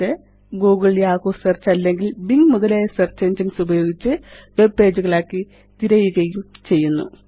ഇത് googleയാഹൂ സെർച്ച് അല്ലെങ്കില് ബിംഗ് മുതലായ സെർച്ച് എൻജിനെസ് ഉപയോഗിച്ച് വെബ് പേജ് കളാക്കി തിരയുകയും ചെയ്യുന്നു